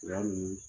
Yanni